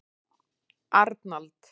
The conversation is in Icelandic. Arnald